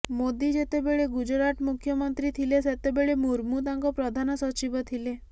ମୋଦୀ ଯେତେବେଳେ ଗୁଜରାଟ ମୁଖ୍ୟମନ୍ତ୍ରୀ ଥିଲେ ସେତେବେଳେ ମୁର୍ମୁ ତାଙ୍କ ପ୍ରଧାନ ସଚିବ ଥିଲେ